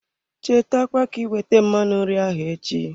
Cheta kwa ka iwete mmanụ nri ahụ echi.